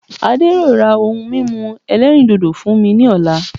Adé yóò ra ohun mímu ẹlẹ́rìndòdò fún mi ní ọ̀la